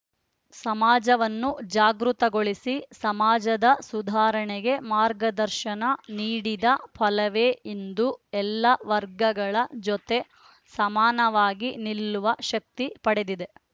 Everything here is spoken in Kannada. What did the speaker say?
ಸಮಾಜವನ್ನು ಜಾಗೃತಗೊಳಿಸಿ ಸಮಾಜದ ಸುಧಾರಣೆಗೆ ಮಾರ್ಗದರ್ಶನ ನೀಡಿದ ಫಲವೇ ಇಂದು ಎಲ್ಲ ವರ್ಗಗಳ ಜೊತೆ ಸಮಾನವಾಗಿ ನಿಲ್ಲುವ ಶಕ್ತಿ ಪಡೆದಿದೆ